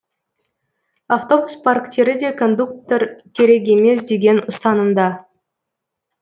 автобус парктері де кондуктор керек емес деген ұстанымда